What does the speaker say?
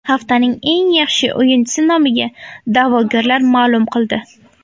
Haftaning eng yaxshi o‘yinchisi nomiga da’vogarlar ma’lum qildi.